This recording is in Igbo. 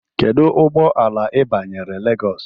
Kedu ụgbọ ala ị banyere Lagos?